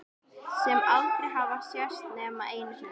Sem aldrei hafa sést nema einu sinni.